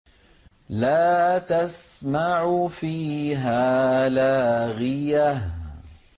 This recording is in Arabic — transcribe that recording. لَّا تَسْمَعُ فِيهَا لَاغِيَةً